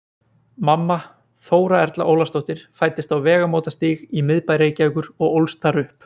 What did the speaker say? Mamma, Þóra Erla Ólafsdóttir, fæddist á Vegamótastíg í miðbæ Reykjavíkur og ólst þar upp.